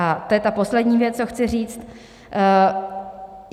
A to je ta poslední věc, co chci říct.